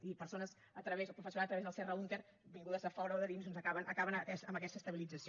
i persones o professorat a través del serra húnter vingudes de fora o de dins doncs acaben amb aquesta estabilització